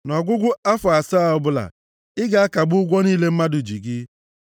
Nʼọgwụgwụ afọ asaa ọbụla, ị ga-akagbu ụgwọ niile mmadụ ji gị.